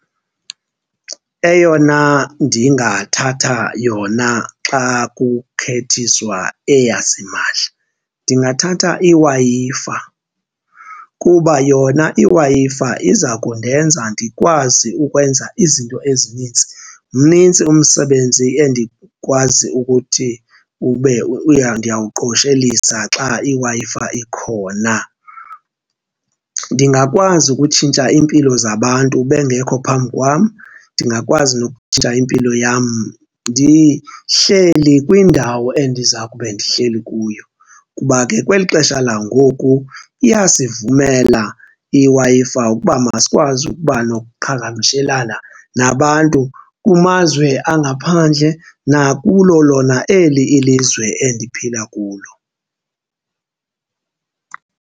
Eyona ndingathatha yona xa kukhethiswa eyasimahla ndingathatha iWi-Fi kuba yona iWi-Fi iza kundenza ndikwazi ukwenza izinto ezinintsi. Mnintsi umsebenzi endikwazi ukuthi ube ndiyawuqoshelisa xa iWi-Fi ikhona. Ndingakwazi ukutshintsha iimpilo zabantu bengekho phambi kwam, ndingakwazi nokutshintsha impilo yam ndihleli kwindawo endiza kube ndihleli kuyo kuba ke kweli xesha langoku iyasivumela iWi-Fi ukuba masikwazi ukuba nokuqhagamshelana nabantu kumazwe angaphandle nakulo lona eli ilizwe endiphila kulo.